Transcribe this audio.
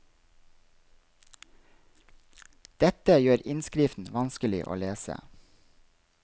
Dette gjør innskriften vanskelig å lese.